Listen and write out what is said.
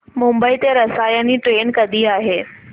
मुंबई ते रसायनी ट्रेन कधी आहे